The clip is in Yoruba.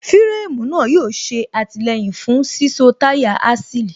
fíréémù náà yóò ṣe àtìlẹyìn fún síso táyà Axle